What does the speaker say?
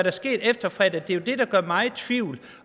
er sket efter fredag der gør mig i tvivl